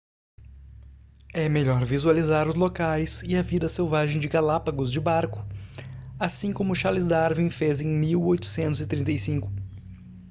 é melhor visualizar os locais e a vida selvagem de galápagos de barco assim como charles darwin fez em 1835